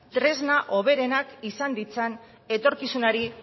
hoberenak izan ditzan etorkizunari